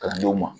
Kalandenw ma